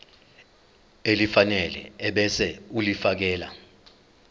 elifanele ebese ulifiakela